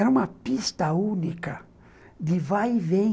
Era uma pista única de vai e vem.